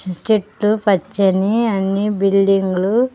చెట్లు పచ్చని అన్ని బిల్డింగులు --